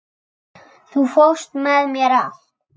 Þú fórst með mér allt.